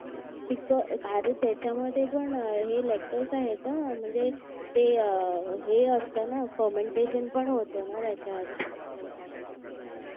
पिक आर त्याच्यामध्ये पण लेक्टर आहेत ह म्हणजे ते हे असत ना फर्मेंटेशन पण होतं ना त्याच्यात